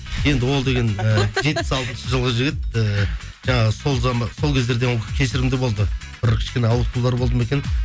енді ол деген жетпіс алтыншы жылғы жігіт ііі жаңағы сол кездерде кешірімді болды бір кішкене ауытқулар болды ма екен